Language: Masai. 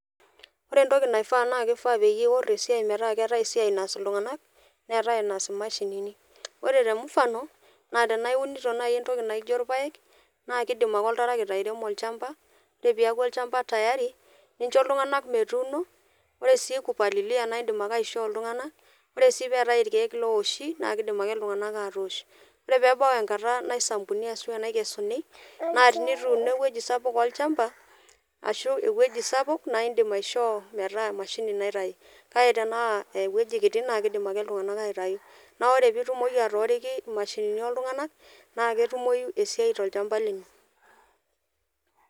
Ore entoki naifaa naa keifaa peyie iworr esiai metaa keetae esiai naas iltung'anak neetae enaas imashinini ore te mfano naa tenaa iunito naai entoki naijio irpayek naa kidim ake oltarakita airemo olchamba ore piaku olchamba tayari nincho iltung'anak metuno ore sii kupalilia naindim ake aishoo iltung'anak ore sii peetae irkeek lowoshi naa kidim ake iltung'anak atoosh ore pebau enkata naisampuni ashua enaikesuni naa tinituuno ewueji sapuk olchamba ashu ewueji sapuk naindim aishoo metaa emashini naitai kake tenaa ewueji kiti naakidim ake iltung'anak aitai naa ore pitumoki atooriki imashini oltung'anak naa ketumoyu esiai tolchamba lino.